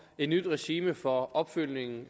et nyt regime for opfølgningen